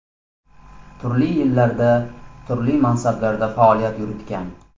Turli yillarda turli mansablarda faoliyat yuritgan.